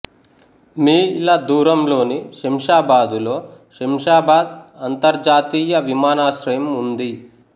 మీ ల దూరంలోని శంషాబాదులో శంషాబాద్ అంతర్జాతీయ విమానాశ్రయం ఉంది